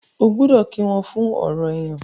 o gbódò kí wón fún ọrọ èyán.